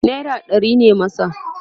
naira ɗari ne masa